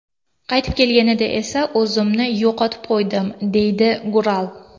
Qaytib kelganida esa, o‘zimni yo‘qotib qo‘ydim”, deydi Gural.